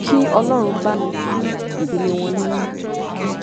kí ọlọrun bá ní tu ìdílé wọn nínú